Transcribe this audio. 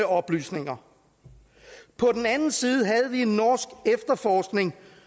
oplysninger på den anden side havde vi en norsk efterforskning